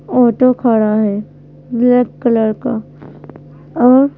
auto खड़ा है black colour का और--